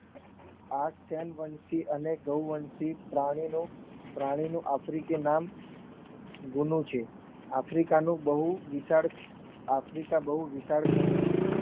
આ ચાલવંશી અને ગઓવનશિત પ્રાણીનો આફ્રિકી નામ ગુણું છે આફ્રિકાનું બહુ વિશાળ ખંડ છે